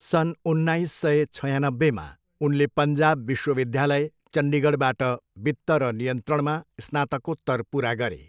सन् उन्नाइस सय छयानब्बेमा, उनले पन्जाब विश्वविद्यालय, चन्डीगढबाट वित्त र नियन्त्रणमा स्नातकोत्तर पुरा गरे।